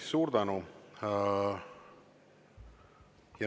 Suur tänu!